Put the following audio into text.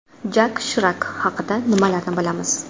Jak Shirak haqida nimalarni bilamiz?